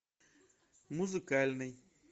музыкальный